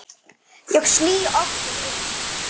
Ég sný aftur inn.